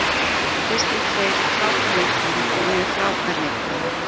Kristinn Freyr er frábær leikmaður og ég er frábær leikmaður.